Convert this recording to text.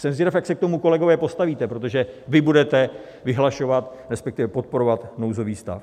Jsem zvědav, jak se k tomu, kolegové, postavíte, protože vy budete vyhlašovat, respektive podporovat nouzový stav.